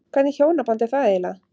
Hvernig hjónaband er það eiginlega?